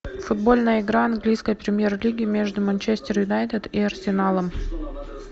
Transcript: футбольная игра английской премьер лиги между манчестер юнайтед и арсеналом